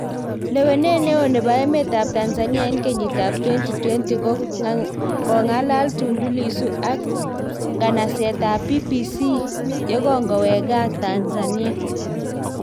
Lewenet neoo nebo emet ab Tanzania en kenyit ab 2020; Kongalal Tundu Lissu ak nganaset ab BBC ye kongowek gaa, Tanzania